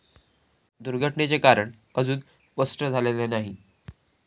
दुर्घटनेचे कारण अजून स्पष्ट झालेले नाही.